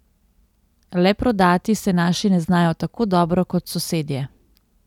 Le prodati se naši ne znajo tako dobro kot sosedje.